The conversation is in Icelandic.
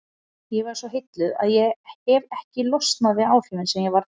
Ég varð svo heilluð að ég hefi ekki losnað við áhrifin sem ég varð fyrir.